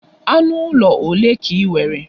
Anụ ụlọ olee ka i nwere?